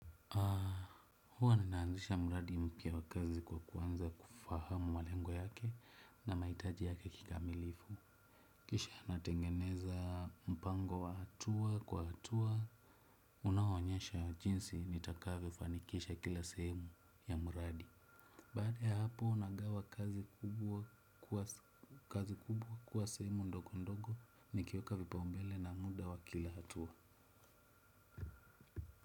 Huwa ninaanzisha mradi mpya wa kazi kwa kuanza kufahamu malengo yake na mahitaji yake kikamilifu. Kisha natengeneza mpango wa hatua kwa hatua unaoonyesha jinsi nitakavyofanikisha kila sehemu ya mradi. Baada ya hapo nagawa kazi kubwa kuwa kazi kubwa kwa sehemu ndogo ndogo nikiweka vipaumbele na muda wa kila hatua.